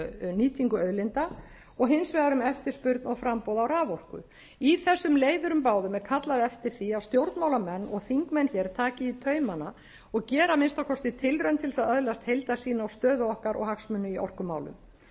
nýtingu auðlinda og hins vegar um eftirspurn og framboð á raforku í þessum leiðurum báðum er kallað eftir því að stjórnmálamenn og þingmenn hér taki í taumana og geri að minnsta kosti tilraun til að öðlast heildarsýn á stöðu okkar og hagsmuni í